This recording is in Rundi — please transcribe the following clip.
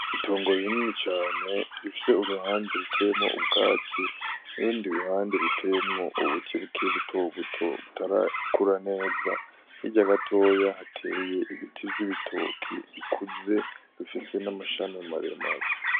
Itongo rinini cane rifise uruhande ruteyemwo ubgatsi ,n'urundi ruhande ruteyemwo ubuti bukiri buto buto butarakura neza hirya gatoya hateye ibiti vyibitoke bikuze bifise n'amashami maremare .